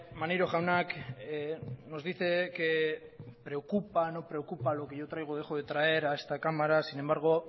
maneiro jaunak nos dice que preocupa no preocupa lo que yo traigo o dejo de traer a esta cámara sin embargo